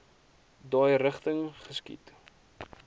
daai rigting geskiet